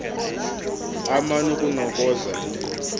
aman ukunokoza into